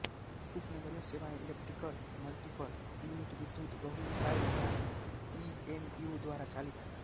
उपनगरीय सेवाएं electrical multiple unit विद्युत बहुइकाई या ई एम यू द्वारा चालित हैं